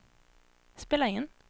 spela in